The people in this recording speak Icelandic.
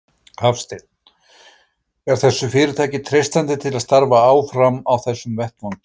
Hafsteinn: Er þessu fyrirtæki treystandi til að starfa áfram á þessum vettvangi?